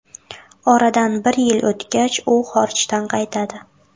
Oradan bir yil o‘tgach, u xorijdan qaytadi.